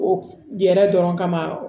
O yɛrɛ dɔrɔn kama